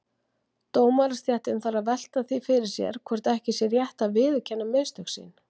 Dómarastéttin þarf að velta því fyrir sér hvort ekki sé rétt að viðurkenna mistök sín.